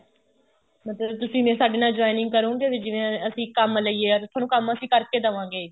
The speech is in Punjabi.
ਮਤਲਬ ਤੁਸੀਂ ਇੰਨੇ ਸਾਡੇ ਨਾਲ joining ਕਰੋਂਗੇ ਵੀ ਜਿਵੇਂ ਅਸੀਂ ਕੰਮ ਲਈਏ or ਤੁਹਾਨੂੰ ਕੰਮ ਅਸੀਂ ਕਰ ਕੇ ਦੇਵਾਗੇ